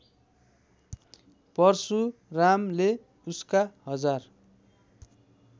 परशुरामले उसका हजार